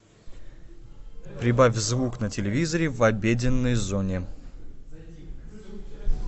прибавь звук на телевизоре в обеденной зоне